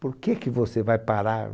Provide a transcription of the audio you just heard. Por que que você vai parar?